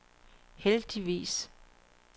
heldigvis